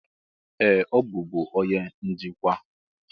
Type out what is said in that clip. Ee! Ọ bụbu onye njikwa.